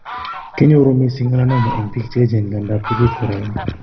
Kinyoru mising melanoma eng' biik cheechen nga nda ngap kobit kora eng